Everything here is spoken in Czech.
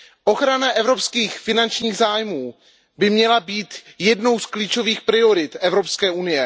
Ochrana evropských finančních zájmů by měla být jednou z klíčových priorit EU.